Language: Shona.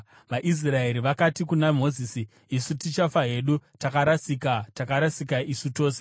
VaIsraeri vakati kuna Mozisi, “Isu tichafa hedu! Takarasika, takarasika isu tose!